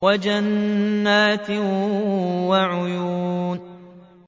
وَجَنَّاتٍ وَعُيُونٍ